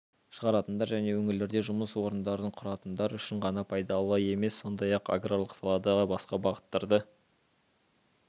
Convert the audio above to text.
шығаратындар және өңірлерде жұмыс орындарын құратындар үшін ғана пайдалы емес сондай-ақ аграрлық салада басқа бағыттарды